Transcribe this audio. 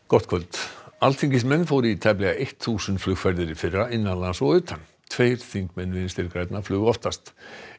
gott kvöld alþingismenn fóru í tæplega eitt þúsund flugferðir í fyrra innan lands og utan tveir þingmenn Vinstri grænna flugu oftast